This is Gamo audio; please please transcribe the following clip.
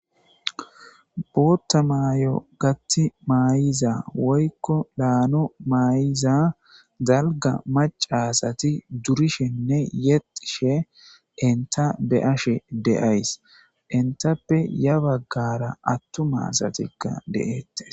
bootta maay7o gatti maayiza woykko laano maayiza zalga macasati durishenne yexishe inta be7ashe deays intappe ya baggara attu maasatikka deeettes